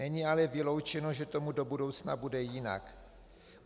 Není ale vyloučeno, že tomu do budoucna bude jinak.